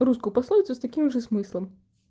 русскую пословицу с таким же смыслом